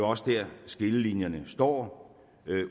også der skillelinjerne står